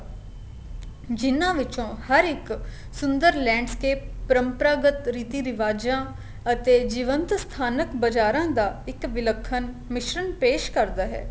ਜਿੰਨਾ ਵਿਚੋ ਹਰ ਇੱਕ ਸੁੰਦਰ landscape ਪ੍ਰਮਪਰਾਗਤ ਰੀਤੀ ਰਿਵਾਜਾ ਅਤੇ ਜੀਵੰਤ ਸਥਾਨਕ ਬਜ਼ਾਰਾ ਦਾ ਇੱਕ ਵਿਲਖਣ ਮਿਸ਼ਰਣ ਪੈਸ਼ ਕਰਦਾ ਹੈ